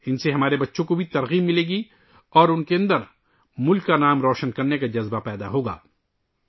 ان سے ہمارے بچے بھی تحریک حاصل کریں گے اور ان کے اندر بھی ملک کا نام روشن کرنے کا جذبہ پیدا ہو گا